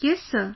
Yes Sir